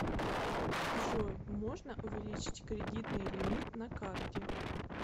джой можно увеличить кредитный лимит на карте